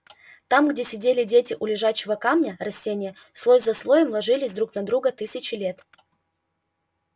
там где сидели дети у лежачего камня растения слой за слоем ложились друг на друга тысячи лет